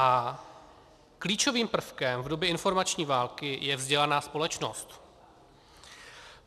A klíčovým prvkem v době informační války je vzdělaná společnost.